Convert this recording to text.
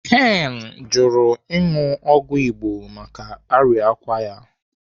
Ken jụrụ ịṅụ ọgwụ Igbo maka arịkwa ya.